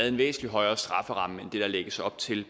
en væsentlig højere strafferamme der lægges op til